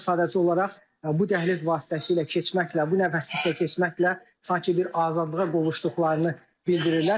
Bunlar sadəcə olaraq bu dəhliz vasitəsilə keçməklə, bu nəfəslikdən keçməklə sanki bir azadlığa qovuşduqlarını bildirirlər.